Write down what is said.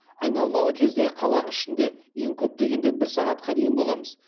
айналмалы кезде қала ішінде ең көп дегенде бір сағатқа дейін боламыз